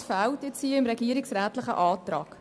Das fehlt nun im regierungsrätlichen Antrag.